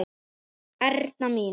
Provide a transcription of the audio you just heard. Erna mín.